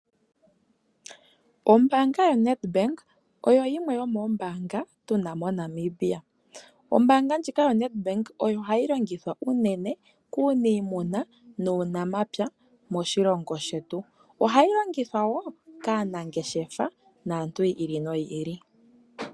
Ombaanga yoNedbank oyo yimwe yomoombanga tuna monamibia. Ombaanga ndjika yoNedbank ohayi longithwa kuuniimuna nokuunamapya moshilongo shetu. Ohayi longithwa wo kaanangeshefa nokaantu yi ili noyi ili.